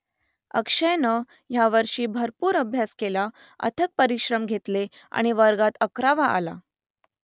अक्षयनं यावर्षी भरपूर अभ्यास केला अथक परिश्रम घेतले आणि वर्गात अकरावा आला